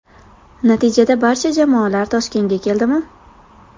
Natijada barcha jamoalar Toshkentga keldi mi ?